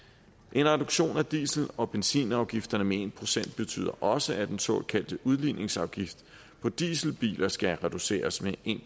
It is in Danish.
en reduktion af diesel og benzinafgifterne med en procent betyder også at den såkaldte udligningsafgift på dieselbiler skal reduceres med en